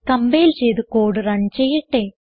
compile ചെയ്ത് code run ചെയ്യട്ടെ